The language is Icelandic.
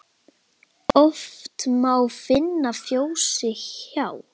Oft má finna fjósi hjá.